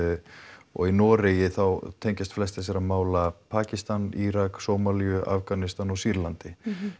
og í Noregi tengjast flest þessara mála Pakistan Írak Sómalíu Afganistan og Sýrlandi